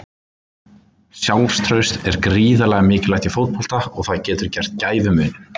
Sjálfstraust er gríðarlega mikilvægt í fótbolta og það getur gert gæfumuninn.